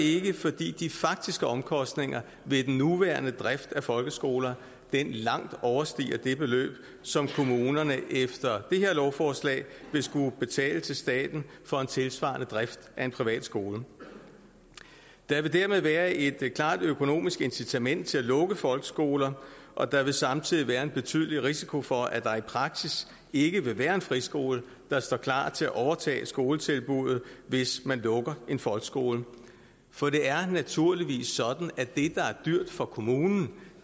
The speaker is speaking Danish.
ikke fordi de faktiske omkostninger ved den nuværende drift af folkeskoler langt overstiger det beløb som kommunerne efter det her lovforslag vil skulle betale til staten for en tilsvarende drift af en privat skole der vil dermed være et klart økonomisk incitament til at lukke folkeskoler og der vil samtidig være en betydelig risiko for at der i praksis ikke vil være en friskole der står klar til at overtage skoletilbuddet hvis man lukker en folkeskole for det er naturligvis sådan at det er dyrt for kommunen